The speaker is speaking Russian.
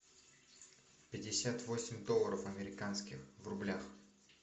пятьдесят восемь долларов американских в рублях